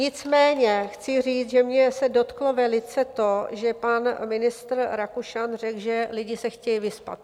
Nicméně chci říct, že mě se dotklo velice to, že pan ministr Rakušan řekl, že lidé se chtějí vyspat.